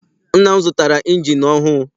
Nna m zụtara injini ọhụụ.